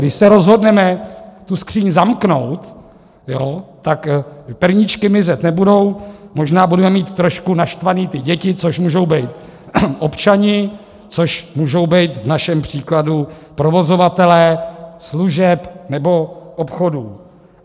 Když se rozhodneme tu skříň zamknout, tak perníčky mizet nebudou, možná budeme mít trošku naštvané ty děti, což můžou být občané, což můžou být v našem příkladu provozovatelé služeb nebo obchodů.